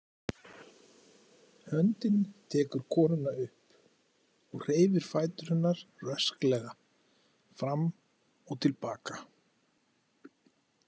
Höndin tekur konuna upp og hreyfir fætur hennar rösklega fram og til baka.